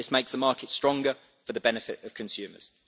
This makes the market stronger for the benefit of consumers.